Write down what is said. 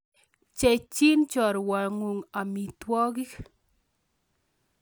Pcheichi chorwokuk amitwokik